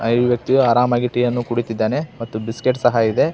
ಆ ಯುವತಿ ಆರಾಮಾಗಿ ಟೀಯನ್ನು ಕುಡಿತ್ತಿದ್ದಾನೆ ಮತ್ತು ಬಿಸ್ಕೆಟ್ ಸಹ ಇದೆ.